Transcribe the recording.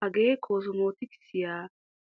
Hagee koosomotikisiya